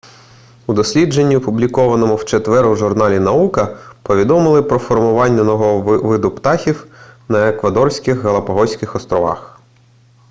у дослідженні опублікованому в четвер у журналі наука повідомили про формування нового виду птахів на еквадорських галапагоських осторовах